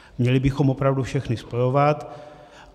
Měli bychom opravdu všechny spojovat.